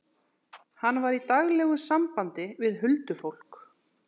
Hann var í daglegu sambandi við huldufólk.